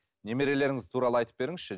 немерелеріңіз туралы айтып беріңізші